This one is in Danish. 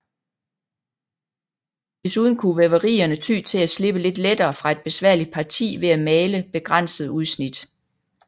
Desuden kunne væverierne ty til at slippe lidt lettere fra et besværligt parti ved at male begrænsede udsnit